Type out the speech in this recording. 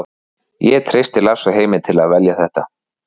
Ég treysti Lars og Heimi til að velja þetta.